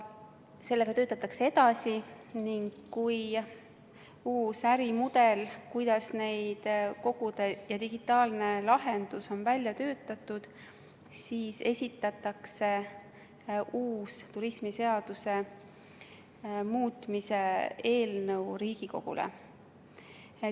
Sellega töötatakse edasi ning kui uus digitaalne lahendus, kuidas neid koguda, on välja töötatud, siis esitatakse uus turismiseaduse muutmise eelnõu Riigikogule.